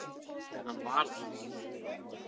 En hann var það.